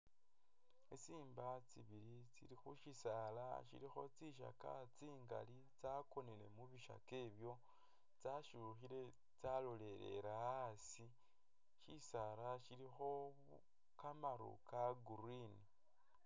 Tsi simba tsibili tsili khushisaala shilikho tsisookya tsingali tsyakonele mubisookya ebyo tsyashukhile tsyalolelele asi ,shisaala shilikho kamaru ka green